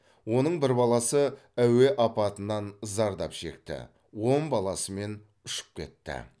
оның бір баласы әуе апатынан зардап шекті он баласымен ұшып кетті